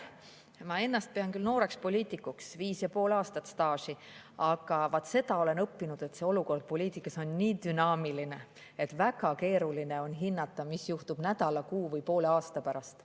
Ma pean ennast küll nooreks poliitikuks, viis ja pool aastat staaži, aga vaat seda olen õppinud, et olukord poliitikas on nii dünaamiline, et väga keeruline on hinnata, mis juhtub nädala, kuu või poole aasta pärast.